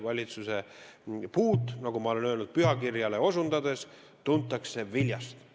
Valitsuse puud, nagu ma ütlen pühakirja osundades, tuntakse viljast.